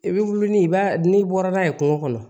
I bɛ wuli ni i b'a n'i bɔra n'a ye kungo kɔnɔ